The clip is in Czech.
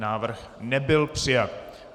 Návrh nebyl přijat.